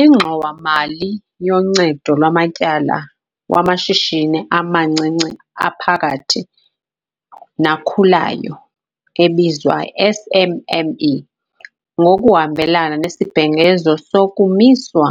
INgxowa-mali yoNcedo lwaMatyala wamaShishini amaNcinci aPhakathi naKhulayo, ebizwa SMME. Ngokuhambelana nesibhengezo sokumiswa